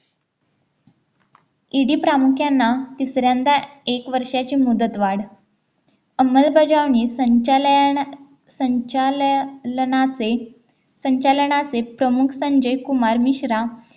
ED प्रामुख्यांना तिसऱ्यांदा एक वर्षाची मुदत वाढ अंमलबजावणी संचालन संचालनाचे संचालनाचे प्रमुख संजय कुमार मिश्रा